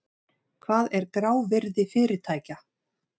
Hvað er grávirði fyrirtækja?